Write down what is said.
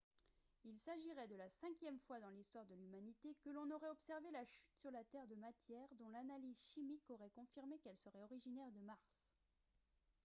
il s'agirait de la cinquième fois dans l'histoire de l'humanité que l'on aurait observé la chute sur la terre de matières dont l'analyse chimique aurait confirmé qu'elles seraient originaires de mars